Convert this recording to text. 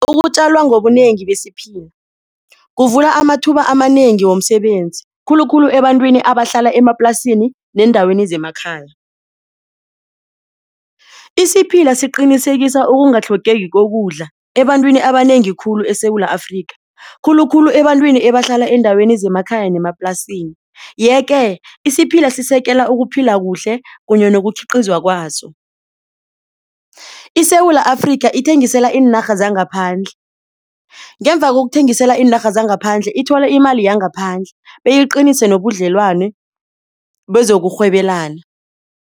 Ukutjalwa ngobunengi besiphila kuvula amathuba amanengi womsebenzi khulukhulu ebantwini abahlala emaplasini neendaweni zemakhaya. Isiphila siqinisekisa ukungatlhogeki kokudla ebantwini abanengi khulu eSewula Afrika khulukhulu ebantwini ebahlala eendaweni zemakhaya nemaplasini. Yeke isiphila sisekela ukuphila kuhle kunye nokukhiqizwa kwaso. ISewula Afrika ithengisela iinarha zangaphandle, ngemva kokuthengisela iinarha zangaphandle ithola imali yangaphandle beyiqinise nobudlelwano bezokurhwebelana.